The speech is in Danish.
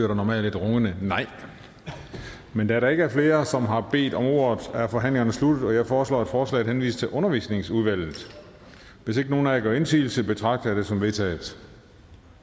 der normalt et rungende nej men da der ikke er flere som har bedt om ordet er forhandlingen sluttet jeg foreslår at forslaget henvises til undervisningsudvalget hvis ikke nogen af jer gør indsigelse betragter jeg det som vedtaget